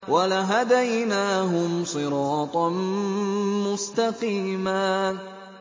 وَلَهَدَيْنَاهُمْ صِرَاطًا مُّسْتَقِيمًا